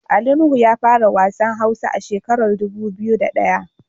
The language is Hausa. Ali Nuhu ya fara wasan hausa a shekarar dubu biyu da daya.